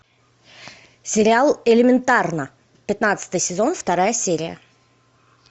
сериал элементарно пятнадцатый сезон вторая серия